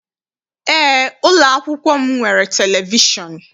Eé, ụlọakwụkwọ m nwere televishọn.